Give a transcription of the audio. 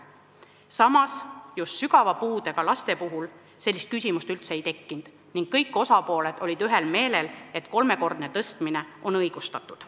Samas, sügava puudega laste puhul sellist küsimust üldse ei tekkinud ning kõik osapooled olid ühel meelel, et kolmekordne tõstmine on õigustatud.